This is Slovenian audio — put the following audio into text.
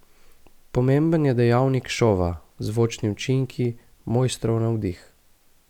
Pomemben je dejavnik šova, zvočni učinki, mojstrov navdih.